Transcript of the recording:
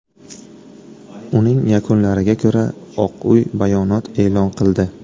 Uning yakunlariga ko‘ra Oq Uy bayonot e’lon qildi.